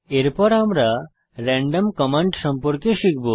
এরপর আমরা random command সম্পর্কে শিখব